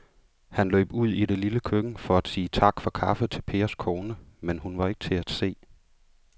Han løb ud i det lille køkken for at sige tak for kaffe til Pers kone, men hun var ikke til at se.